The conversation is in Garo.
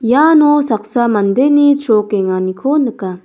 iano saksa mandeni chrokenganiko nika.